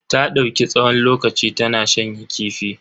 Ta dauki tsawon lokaci tana shanya kifi.